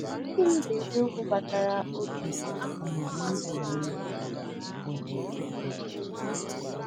Gịnị bụ eziokwu gbasara oge na ọmụmụ onwe onye?